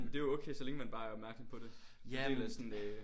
Men det er jo okay så længe man bare er opmærskom på det en del af sådan øh